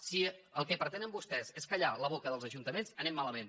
si el que pretenen vostès és callar la boca dels ajuntaments anem malament